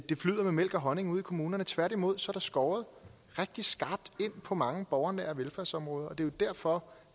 flyder med mælk og honning ude i kommunerne tværtimod skåret rigtig skarpt ind på mange borgernære velfærdsområder og det er jo derfor